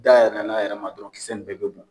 Dayɛlɛ na a yɛrɛ ma dɔrɔn kisɛ in bɛɛ be burun.